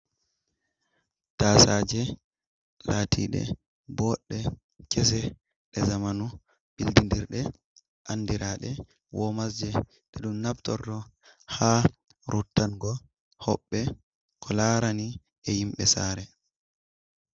Taasaaje laatiɗe boɗɗe, kese, ɗe zamanu bildidirɗe andiraɗe womas je, ɗe ɗum naftorto ha rottango hoɓɓe ko laarani e himɓe saare.